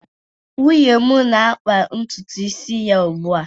nwunye m na-akpa ntutu isi ya ugbu a